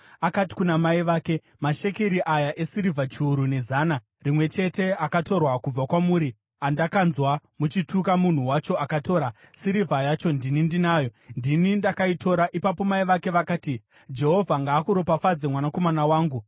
akati kuna mai vake, “Mashekeri aya esirivha chiuru nezana rimwe chete akatorwa kubva kwamuri andakanzwa muchituka munhu wacho akatora, sirivha yacho ndini ndinayo; ndini ndakaitora.” Ipapo mai vake vakati, “Jehovha ngaakuropafadze, mwanakomana wangu!”